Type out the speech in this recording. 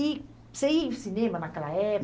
E você ia ao cinema naquela